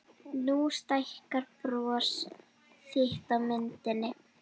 Nú stækkar bros þitt á myndinni.